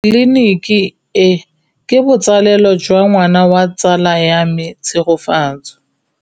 Tleliniki e, ke botsalêlô jwa ngwana wa tsala ya me Tshegofatso.